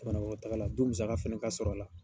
jamanaɔnɔtaga la du musaka fana ka sɔrɔ a la.